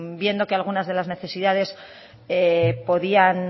viendo que algunas de las necesidades podían